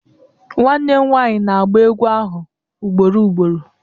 Nwanne m nwaanyị na-agba egwú ahụ ugboro ugboro